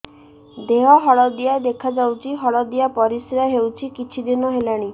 ଦେହ ହଳଦିଆ ଦେଖାଯାଉଛି ହଳଦିଆ ପରିଶ୍ରା ହେଉଛି କିଛିଦିନ ହେଲାଣି